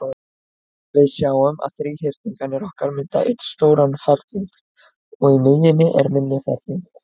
Við sjáum að þríhyrningarnir okkar mynda einn stóran ferning, og í miðjunni er minni ferningur.